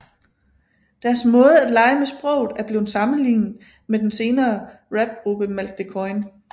Deres måde at lege med sproget er blevet sammenlignet med den senere rapgruppe Malk de Koijn